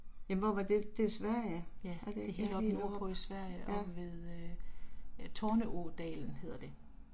Jamen hvor var det, det er Sverige? Er det ikke ja helt oppe ja